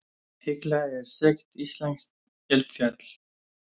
Hekla er þekkt íslenskt eldfjall.